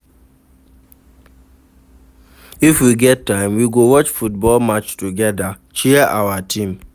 If we get time, we go watch football match togeda, cheer our team.